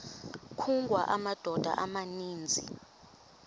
kungawa amadoda amaninzi